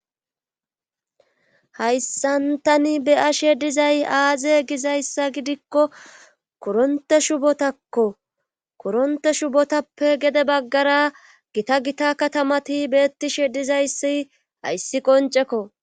Hayssan tani beyashe dizay aaze gizayssa gidikko kuronte shubotakko koronte shubotappe gede baggara gita gita katamati beettishe dizayssi hayssi qoncekko.